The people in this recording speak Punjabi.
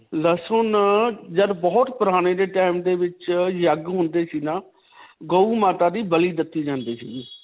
ਲਸੁਨ ਅਅ ਜਦ ਬਹੁਤ ਪੁਰਾਣੇ ਜੇ time ਦੇ ਵਿੱਚ ਯੱਗ ਹੁੰਦੇ ਸੀ ਨਾ ਗੋ ਮਾਤਾ ਦੀ ਬਲੀ ਦਿੱਤੀ ਜਾਂਦੀ ਸਿਗੀ.